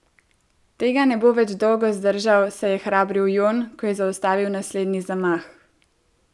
Tega ne bo več dolgo zdržal, se je hrabril Jon, ko je zaustavil naslednji zamah.